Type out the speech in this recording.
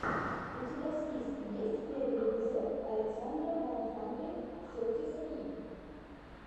у тебя в списке есть первый эпизод александра уан хандрид сети сри